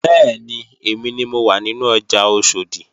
Bẹ́ẹ̀ni, èmi ni mo wà nínú ọjà Oṣòdì